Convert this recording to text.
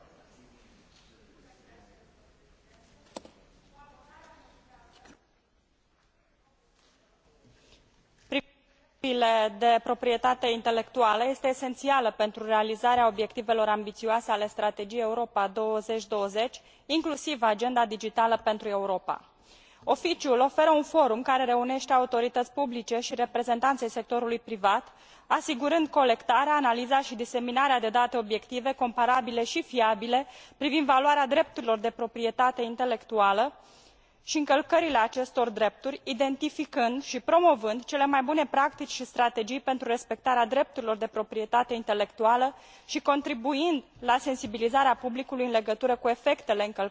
O abordare armonizată și progresivă privind drepturile de proprietate intelectuală este esențială pentru realizarea obiectivelor ambițioase ale Strategiei Europa 2020, inclusiv Agenda digitală pentru Europa. Oficiul oferă un forum care reunește autorități publice și reprezentanți ai sectorului privat, asigurând colectarea, analiza și diseminarea de date obiective, comparabile și fiabile privind valoarea drepturilor de proprietate intelectuală și încălcările acestor drepturi, identificând și promovând cele mai bune practici și strategii pentru respectarea drepturilor de proprietate intelectuală și contribuind la sensibilizarea publicului în legătură cu efectele încălcării acestora.